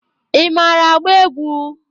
Ị mara agba egwu?